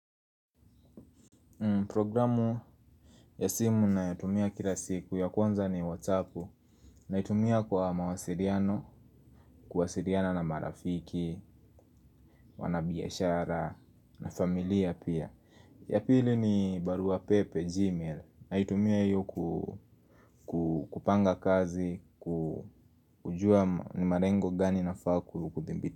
Programu ya simu ninayotumia kila siku, ya kwanza ni whatsapp. Naitumia kwa mawasiliano, kuwasiliana na marafiki, wanabiashara na familia pia. Ya pili ni barua pepe, gmail. Naitumia hiyo kupanga kazi, kujua ni malengo gani nafaa.